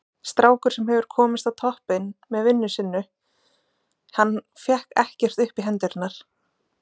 Strákur sem hefur komist á toppinn með vinnu sinnu, hann fékk ekkert upp í hendurnar.